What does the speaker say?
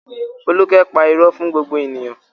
Folúkẹ́ pa irọ́ fún gbogbo ènìyàn?